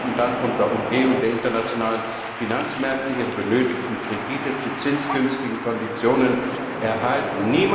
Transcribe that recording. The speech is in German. Diese könnten dann unter Umgehung der internationalen Finanzmärkte ihre benötigten Kredite zu zinsgünstigen Konditionen erhalten.